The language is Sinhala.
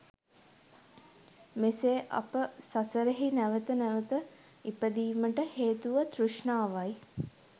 මෙසේ අප සසරෙහි නැවත නැවත ඉපදීමට හේතුව තෘෂ්ණාවයි